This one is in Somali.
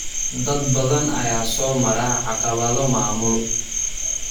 Dad badan ayaa soo mara caqabado maamul.